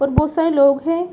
और बहुत सारे लोग हैं।